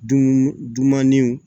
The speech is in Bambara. Dunaninw